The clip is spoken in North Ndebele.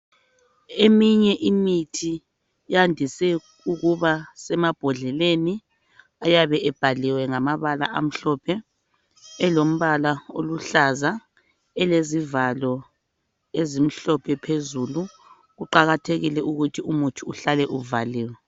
Eminye imithi yandiswe ukuba semambhondleleni ayabe ebhaliwe ngamabala amhlophe elombala oluhlaza elezivalo ezimhlophe phezulu. Kuqakathekile ukuthi umuthi uhlale uvaliwe